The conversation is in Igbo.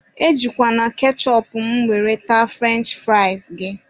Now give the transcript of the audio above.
E jikwana kechụpụ mụ were taa frụrench fụrịas gị